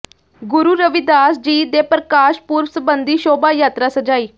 ਗੁਰੂ ਰਵਿਦਾਸ ਜੀ ਦੇ ਪ੍ਰਕਾਸ਼ ਪੁਰਬ ਸਬੰਧੀ ਸ਼ੋਭਾ ਯਾਤਰਾ ਸਜਾਈ